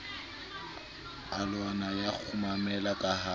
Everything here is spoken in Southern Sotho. alwana ya kgumamela ka ha